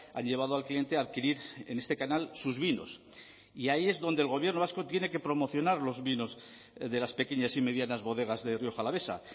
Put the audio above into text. ha llevado al cliente a adquirir en este canal sus vinos y ahí es donde el gobierno vasco tiene que promocionar los vinos de las pequeñas y medianas bodegas de rioja alavesa